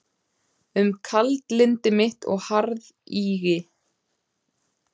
Um kaldlyndi mitt og harðýðgi.